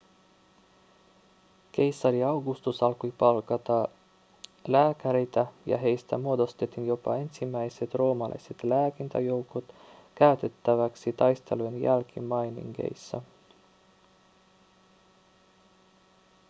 keisari augustus alkoi palkata lääkäreitä ja heistä muodostettiin jopa ensimmäiset roomalaiset lääkintäjoukot käytettäväksi taistelujen jälkimainingeissa